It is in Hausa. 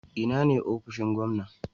Ina ne ofishin gwamna?